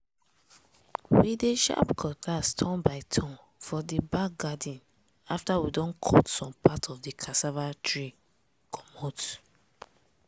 we dey sharp cutlass turn by turn for di back garden after we don cut some part of di cassava tree comot.